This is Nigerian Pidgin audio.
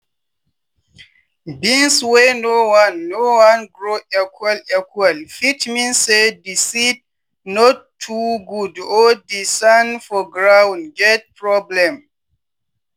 beans wey no wan no wan grow equal equal fit mean say di seed no too good or di sand for ground get problem.